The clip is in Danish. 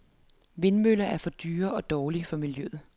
Vindmøller for dyre og dårlige for miljøet.